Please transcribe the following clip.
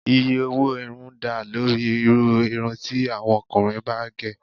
Iye owó irun dá lórí irú irun ti àwọn ọkùnrin bá gẹ̀